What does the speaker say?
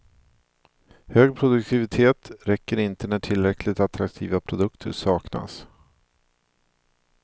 Hög produktivitet räcker inte när tillräckligt attraktiva produkter saknas.